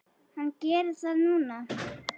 Hann gerir það núna.